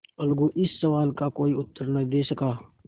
अलगू इस सवाल का कोई उत्तर न दे सका